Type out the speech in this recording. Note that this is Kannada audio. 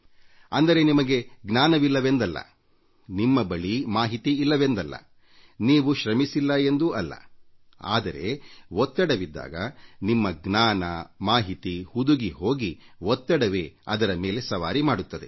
ಅಂದರೆ ನಿಮಗೆ ಜ್ಞಾನವಿಲ್ಲವೆಂದಲ್ಲ ನಿಮ್ಮ ಬಳಿ ಮಾಹಿತಿ ಇಲ್ಲವೆಂದಲ್ಲ ನೀವು ಕಷ್ಟಪಟ್ಟಿಲ್ಲ ಎಂದೂ ಅಲ್ಲ ಆದರೆ ಒತ್ತಡವಿದ್ದಾಗ ನಿಮ್ಮ ಜ್ಞಾನ ಮಾಹಿತಿ ಹುದುಗಿ ಹೋಗಿ ಒತ್ತಡವೇ ನಿಮ್ಮ ಮೇಲೆ ಸವಾರಿ ಮಾಡುತ್ತದೆ